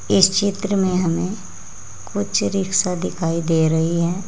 इस चित्र में हमें कुछ रिक्शा दिखाई दे रही है।